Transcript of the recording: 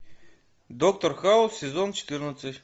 доктор хаус сезон четырнадцать